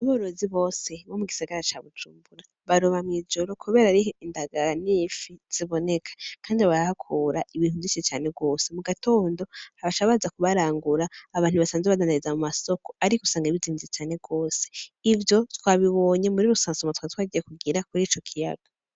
Baorozi bose wo mu gisagara ca bujumbura baroba mw'ijoro, kubera ariho indaganifi ziboneka, kandi abarahakura ibintu ndi co cane rwose mu gatondo habasha baza kubarangura abantu basanze bananariza mu masoko ario gusanga ibizinvye cane rwose ivyo twabibonye muri rusansoma twa twagiye kugira kuri ico kiyaga.